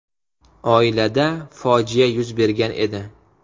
Oilada fojia yuz bergan edi.